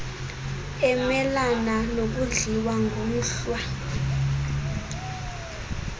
emelana nokudliwa ngumhlwa